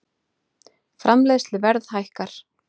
Framleiðsluverð hækkar